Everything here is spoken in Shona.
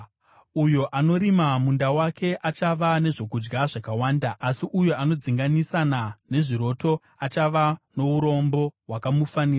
Uyo anorima munda wake achava nezvokudya zvakawanda, asi uyo anodzinganisana nezviroto achava nourombo hwakamufanira.